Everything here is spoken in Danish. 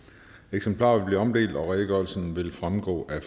eksemplarer vil blive omdelt og redegørelsen vil fremgå af